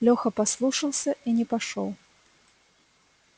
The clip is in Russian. лёха послушался и не пошёл